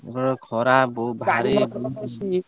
ଓଃ, ଖରା ବହୁତ ଭାରି।